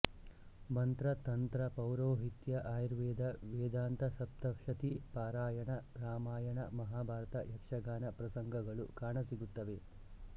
ಮಂತ್ರ ತಂತ್ರ ಪೌರೋಹಿತ್ಯ ಅಯುರ್ವೇದ ವೇದಾಂತಸಪ್ತಷತಿ ಪಾರಾಯಣ ರಾಮಾಯಣ ಮಹಾಭಾರತ ಯಕ್ಷಗಾನ ಪ್ರಸಂಗಗಳು ಕಾಣ ಸಿಗುತ್ತವೆ